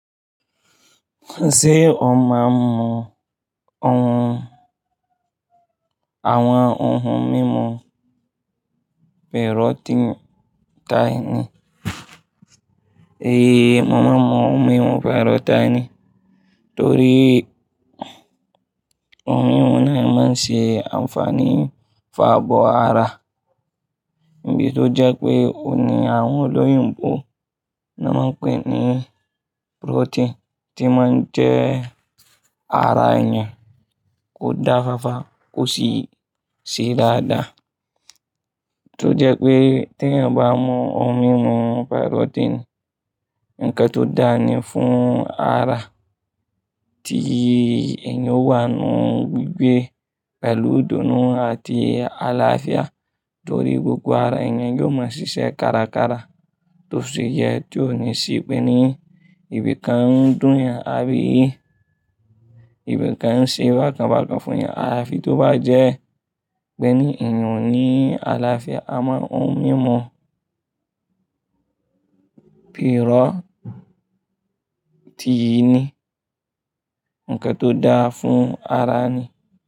Ṣé ọmọ mọ ohun, àwọn ohun mímu pírọ́tíìnì tàí ní? Ée, mo mọ ohun mímu pírọ́tíìnì torí ohun mímu náà máa ń ṣe ànfààní fún abọ́ ara. Bí tó jẹ́ pé ó ní àwọn olóyin pọ̀ tó máa ń pè ní pírọ́tíìnì tí máa ń jẹ́ ara èèyàn kó dáfa fa, kó ṣí ṣí dáadáa. Tó jẹ́ pé tí ẹ bá mu ohun mímu pírọ́tíìnì nkán tó dáa ní fún ara, tí èèyàn ó wà nínú gbígbé pẹ̀lú ìdùnnú àti àlàáfíà torí gbogbo ara èèyàn yóò máa ṣiṣẹ́ kárakára tó sì yẹ tí ó ní ṣí pé ní ìbìkán dùn yàn àbí ìbìkán ṣe bákan bákan fún ìyàrá fi tó bá jẹ́ pé ní èèyàn ní àlàáfíà. Àmọ́ ohun mímu pírọ́tíìnì ni ńkẹ́ tó dáa fún ara ni.